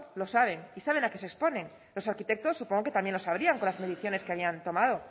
lo saben y saben a qué se exponen los arquitectos supongo que también lo sabían con las mediciones que habían tomado